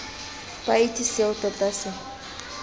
ba itse seo tota se